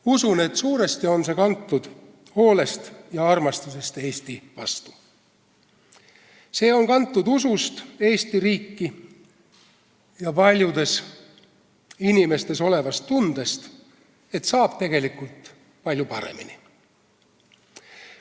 Usun, et suuresti on see kantud hoolest ja armastusest Eesti vastu, see on kantud usust Eesti riiki ja paljude inimeste tundest, et saab tegelikult palju paremini.